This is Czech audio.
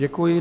Děkuji.